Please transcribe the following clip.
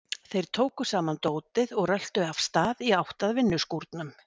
Þeir tóku saman dótið og röltu af stað í átt að vinnuskúrnum.